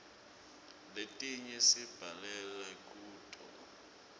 letinye sibhalela kuto